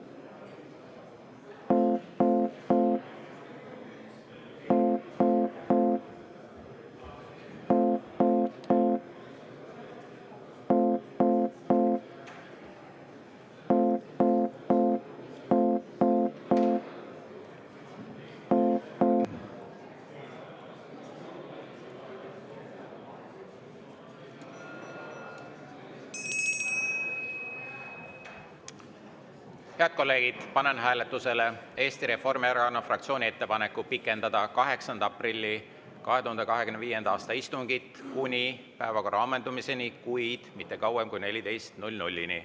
Head kolleegid, panen hääletusele Eesti Reformierakonna fraktsiooni ettepaneku pikendada 8. aprilli 2025. aasta istungit kuni päevakorra ammendumiseni, kuid mitte kauem kui kella 14-ni.